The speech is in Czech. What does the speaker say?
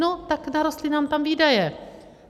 No, tak narostly nám tam výdaje.